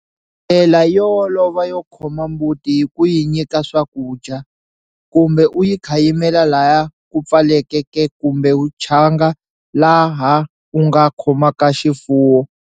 Ndlela yo olova yo khoma mbuti i ku yi nyika swakudya, kumbe u yi khayimela laha ku pfaleke ke kumbe tshanga laha u nga khomaka xifuwo.